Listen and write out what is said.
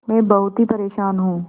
मैं बहुत ही परेशान हूँ